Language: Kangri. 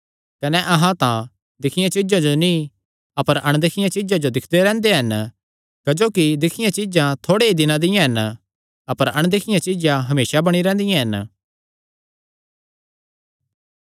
कने अहां तां दिक्खियां चीज्जां जो नीं अपर अणदिखियां चीज्जां जो दिक्खदे रैंह्दे हन क्जोकि दिक्खियां चीज्जां थोड़े ई दिनां दियां हन अपर अणदिखियां चीज्जां हमेसा बणी रैंह्दियां हन